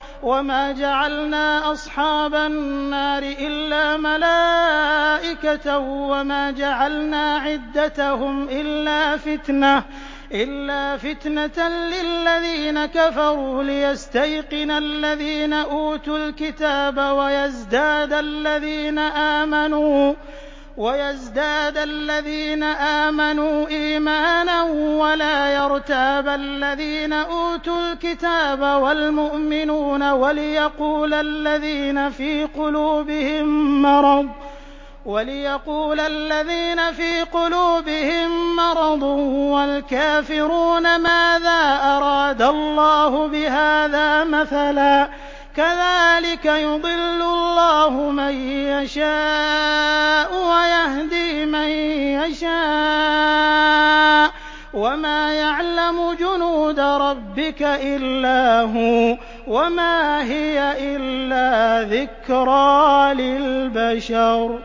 وَمَا جَعَلْنَا أَصْحَابَ النَّارِ إِلَّا مَلَائِكَةً ۙ وَمَا جَعَلْنَا عِدَّتَهُمْ إِلَّا فِتْنَةً لِّلَّذِينَ كَفَرُوا لِيَسْتَيْقِنَ الَّذِينَ أُوتُوا الْكِتَابَ وَيَزْدَادَ الَّذِينَ آمَنُوا إِيمَانًا ۙ وَلَا يَرْتَابَ الَّذِينَ أُوتُوا الْكِتَابَ وَالْمُؤْمِنُونَ ۙ وَلِيَقُولَ الَّذِينَ فِي قُلُوبِهِم مَّرَضٌ وَالْكَافِرُونَ مَاذَا أَرَادَ اللَّهُ بِهَٰذَا مَثَلًا ۚ كَذَٰلِكَ يُضِلُّ اللَّهُ مَن يَشَاءُ وَيَهْدِي مَن يَشَاءُ ۚ وَمَا يَعْلَمُ جُنُودَ رَبِّكَ إِلَّا هُوَ ۚ وَمَا هِيَ إِلَّا ذِكْرَىٰ لِلْبَشَرِ